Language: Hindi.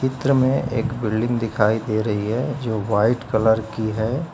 चित्र में एक बिल्डिंग दिखाई दे रही है जो वाइट कलर की है।